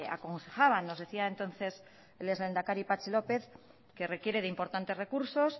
aconsejaban nos decía entonces el ex lehendakari patxi lópez que requiere de importantes recursos